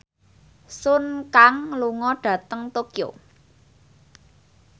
Sun Kang lunga dhateng Tokyo